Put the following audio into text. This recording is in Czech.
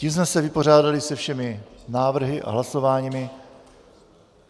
Tím jsme se vypořádali se všemi návrhy a hlasováními.